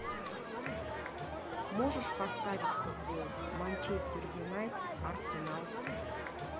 можешь поставить футбол манчестер юнайтед арсенал